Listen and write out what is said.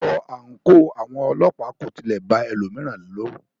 Aṣọ àńkò àwọn ọlọ́pàá kò tilẹ̀ ba ẹlòmíràn lọrù.